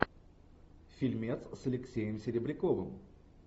фильмец с алексеем серебряковым